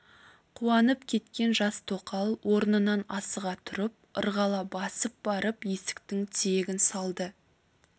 қуанып кеткен жас тоқал орнынан асыға тұрып ырғала басып барып есіктің тиегін салды